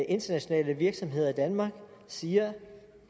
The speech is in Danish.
internationale virksomheder i danmark siger